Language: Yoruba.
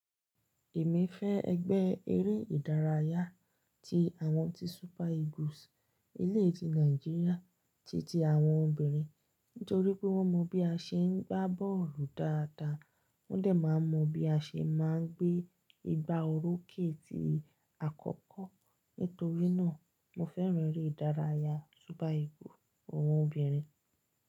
Èmi fẹ́ ẹgbẹ́ eré ìdárayá tí àwọn tí ilẹ̀ Nàìjíríà titi àwọn obìnrin, nítorí pé wọ́n mọ bí a ṣe ń gbá bọ́ọ̀lù dáadáa. Wọ́n dẹ̀ máa mọ bí a ṣe máa ń gbé igbá orókè ni àkọ́kọ́. Nítorí náà, mo fẹ́ràn eré ìdárayá egbe agba boolu àwọn obìnrin.